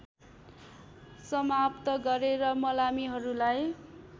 समाप्त गरेर मलामीहरूलाई